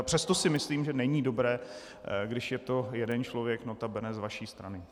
A přesto si myslím, že není dobré, když je to jeden člověk, nota bene z vaší strany.